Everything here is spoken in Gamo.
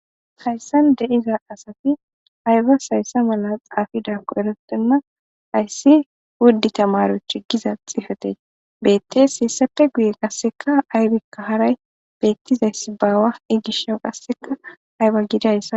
Hayssan de7iza asati aybas hayssa mala xaafizaako eretena ,hayssi wudi temariyoche giza xifate beetees. Hessappe guyen qasssika aybika haray beetizayssi baawa. He gishas qasseka ayba gidiyassi.